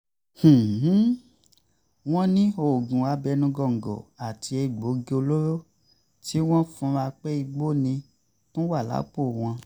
wọ́n ní oògùn abẹ́nú gọǹgọ̀ àti egbòogi olóró tí wọ́n fura pé igbó ni tún wà lápò wọn